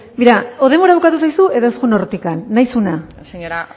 begira edo denbora bukatu zaizu edo ez joan hortik nahi duzuna zuk nahi duzuna